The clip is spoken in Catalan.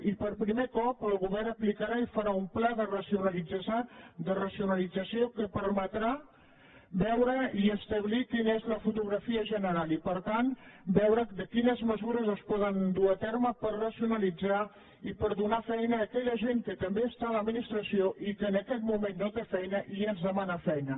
i per primer cop el govern aplicarà i farà un pla de racionalització que permetrà veure i establir quina és la fotografia general i per tant veure quines mesures es poden dur a terme per racionalitzar i per donar feina a aquella gent que també està a l’administració i que en aquest moment no té feina i ens demana feina